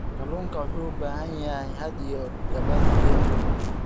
Kalluunku wuxuu u baahan yahay hadh iyo gabaad biyo ah.